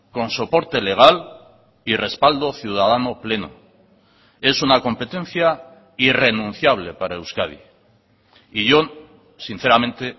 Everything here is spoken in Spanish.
con soporte legal y respaldo ciudadano pleno es una competencia irrenunciable para euskadi y yo sinceramente